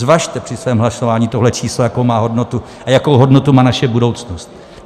Zvažte při svém hlasování tohle číslo, jakou má hodnotu, a jakou hodnotu má naše budoucnost.